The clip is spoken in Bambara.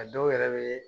A dɔw yɛrɛ bɛ